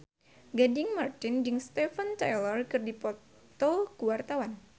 Gading Marten jeung Steven Tyler keur dipoto ku wartawan